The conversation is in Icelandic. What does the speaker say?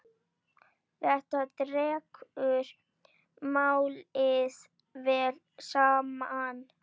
Þetta dregur málið vel saman.